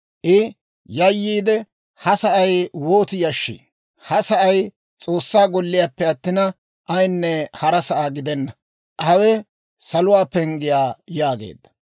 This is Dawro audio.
I yayyiide, «Ha sa'ay wooti yashshii! Ha sa'ay S'oossaa golliyaappe attin, ayinne hara sa'aa gidenna; hawe saluwaa penggiyaa» yaageedda.